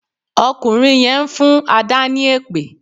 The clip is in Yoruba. Ọkùnrin yẹn ń fún Adà ni èpè